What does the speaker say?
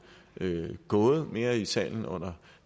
gået mere i salen under